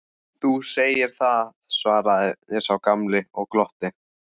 Þú segir það, svaraði sá gamli og glotti.